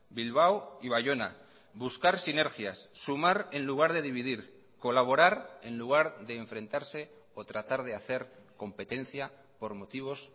bilbao y baiona buscar sinergias sumar en lugar de dividir colaborar en lugar de enfrentarse o tratar de hacer competencia por motivos